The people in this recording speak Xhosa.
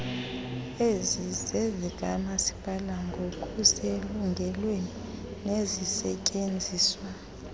ezizezikamasipala ngokuselungelweni nezisetyenziswa